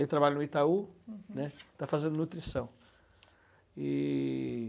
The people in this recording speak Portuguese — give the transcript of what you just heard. Ele trabalha no Itaú, né, uhum, está fazendo nutrição. E...